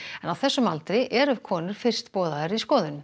á þessum aldri eru konur fyrst boðaðar í skoðun